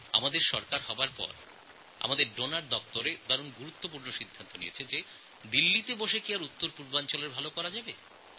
আমাদের সরকার গঠনের পরে আমাদের ডোনার ডিপার্টমেন্ট একটি গুরুত্বপূর্ণ সিদ্ধান্ত নেয় যে দিল্লিতে বসে উত্তরপূর্ব ভারতের উন্নয়ন সম্ভব নয়